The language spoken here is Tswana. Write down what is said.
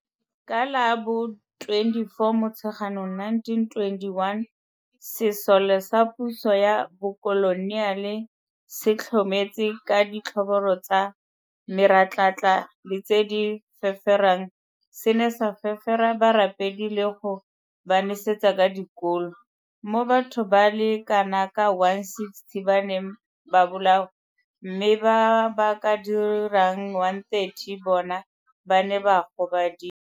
Ka la bo 24 Motsheganong 1921, sesole sa puso ya bokoloniale se tlhometse ka ditlhobolo tsa meratlatla le tse di feferang se ne sa fefera barapedi le go ba nesetsa ka dikolo, mo batho ba le kanaka 160 ba neng ba bolawa mme ba ba ka dirang 130 bona ba ne ba gobadiwa.